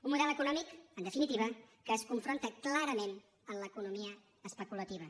un model econòmic en definitiva que es confronta clarament amb l’economia especulativa